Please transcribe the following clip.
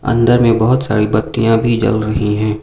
अंदर में बहोत सारी बत्तियां भी जल रही है।